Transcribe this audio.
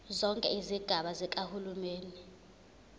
zonke izigaba zikahulumeni